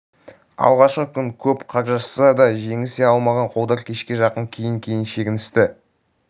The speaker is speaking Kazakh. алғашқы күн көп қаржасса да жеңісе алмаған қолдар кешке жақын кейін-кейін шегіністі